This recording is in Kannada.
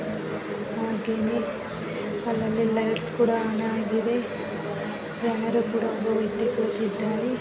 ಹಾಗೆನೆ ಅಲ್ಲಲ್ಲಿ ಲೈಟ್ಸ್ ಕೂಡ ಆನ್‌ ಆಗಿದೆ ಯಾರೋ ಒಬ್ಬ ವ್ಯಕ್ತಿ ಕೂತಿದ್ದಾರೆ .